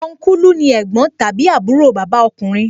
Ọnkulu ni ẹ̀gbọ́n tàbí àbúrò bàbá ọkùnrin